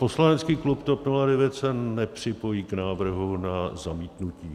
Poslanecký klub TOP 09 se nepřipojí k návrhu na zamítnutí.